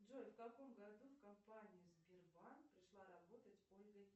джой в каком году в компанию сбербанк пришла работать ольга